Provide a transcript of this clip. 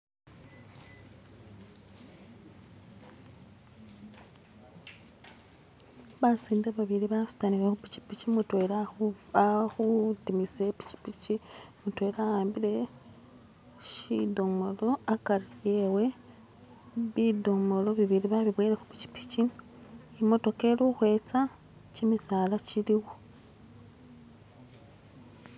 Basinde babili basutanile khu pikipiki, mutwela ali khutimisa ipikipiki, mutela awambile shidomolo akari ewe, bidomolo bibili babiboyele khupikipiki , imotoka ili ukhwetsa kimisala kiliwo.